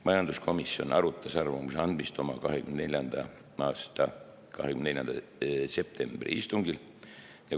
Majanduskomisjon arutas arvamuse andmist oma 2024. aasta 24. septembri istungil.